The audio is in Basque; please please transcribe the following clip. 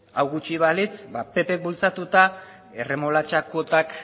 hau gutxi balitz ba ppk bultzatuta erremolatxa kuotak